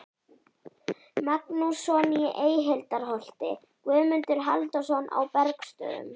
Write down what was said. Magnússon í Eyhildarholti, Guðmundur Halldórsson á Bergsstöðum